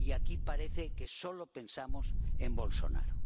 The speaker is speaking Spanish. Y aquí parece que solo pensamos en Bolsonaro.